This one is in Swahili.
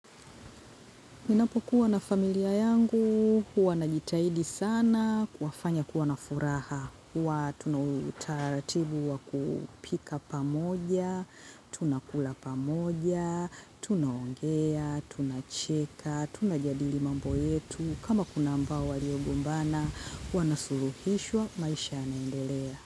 Ninapokuwa na familia yangu, huwa najitahidi sana, kuwafanya kuwa na furaha. Huwa tuna utaratibu wa kupika pamoja, tunakula pamoja, tunaongea, tunacheka, tunajadili mambo yetu. Kama kuna ambao waliogombana, wanasuluhishwa, maisha yanaendelea.